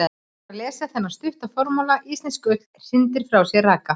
Fyrst þarf að lesa þennan stutta formála: Íslensk ull hrindir frá sér raka.